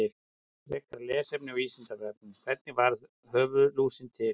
Frekara lesefni á Vísindavefnum: Hvernig varð höfuðlúsin til?